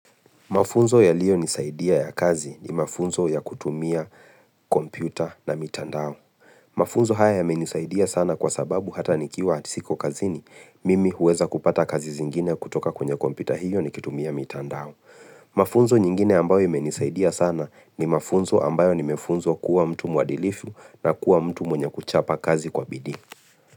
Mafunzo ya liyo nisaidia ya kazi ni mafunzo ya kutumia kompyuta na mitandao. Mafunzo haya yamenisaidia sana kwa sababu hata nikiwa siko kazini, mimi huweza kupata kazi zingine kutoka kwenye kompyuta hiyo ni kutumia mitandao. Mafunzo nyingine ambayo yamenisaidia sana ni mafunzo ambayo nimefunzwa kuwa mtu mwadilifu na kuwa mtu mwenye kuchapa kazi kwa bidii.